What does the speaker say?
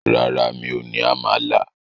Rárá, mi ò ní àmàlà.